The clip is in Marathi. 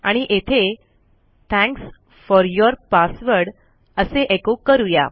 आणि येथे थँक्स फोर यूर पासवर्ड असे एको करू या